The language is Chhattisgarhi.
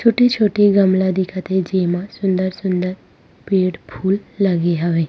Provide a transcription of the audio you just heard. छोटी-छोटी गमला दिखत हे जेमा सुंदर-सुंदर पेड़-फूल लगे हवे।